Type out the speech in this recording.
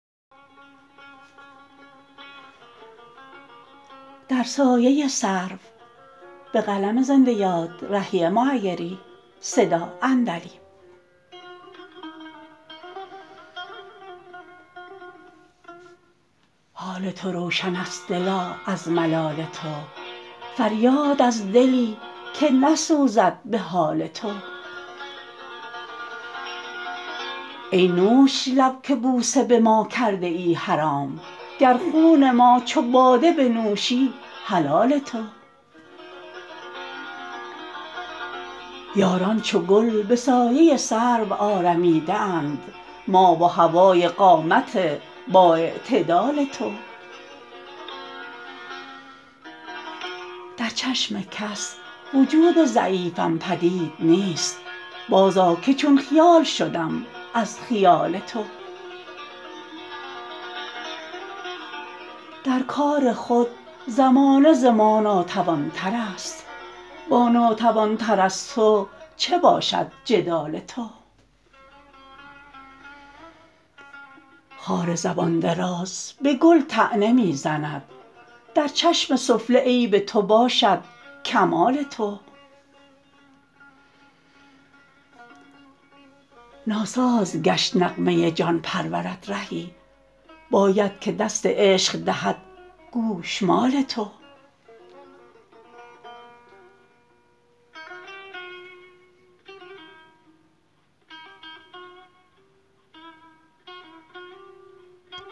حال تو روشن است دلا از ملال تو فریاد از دلی که نسوزد به حال تو ای نوش لب که بوسه به ما کرده ای حرام گر خون ما چو باده بنوشی حلال تو یاران چو گل به سایه سرو آرمیده اند ما و هوای قامت با اعتدال تو در چشم کس وجود ضعیفم پدید نیست باز آ که چون خیال شدم از خیال تو در کار خود زمانه ز ما ناتوان تر است با ناتوان تر از تو چه باشد جدال تو خار زبان دراز به گل طعنه می زند در چشم سفله عیب تو باشد کمال تو ناساز گشت نغمه جان پرورت رهی باید که دست عشق دهد گوشمال تو